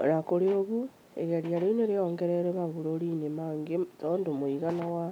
O na kũrĩ ũguo, igeria rĩu nĩ rĩongereirũo mabũrũri-inĩ mangĩ tondũ mũigana wa